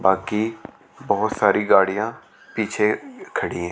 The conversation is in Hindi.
बाकी बहुत सारी गाड़ियां पीछे खड़ी हैं।